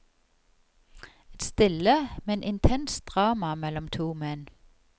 Et stille, men intenst drama mellom to menn.